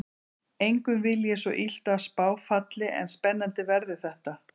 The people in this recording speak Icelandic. Engum vil ég svo illt að spá falli en spennandi verður þetta.